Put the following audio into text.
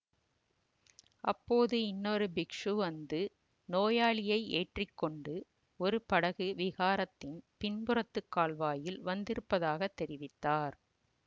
அப்போது இன்னொரு பிக்ஷு வந்து நோயாளியை ஏற்றி கொண்டு ஒரு படகு விஹாரத்தின் பின்புறத்துக் கால்வாயில் வந்திருப்பதாகத் தெரிவித்தார்